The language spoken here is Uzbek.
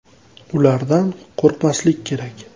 Ulardan qo‘rqmaslik kerak.